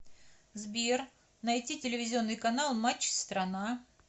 сбер найти телевизионный канал матч страна